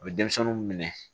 U bɛ denmisɛnninw minɛ